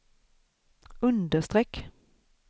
understreck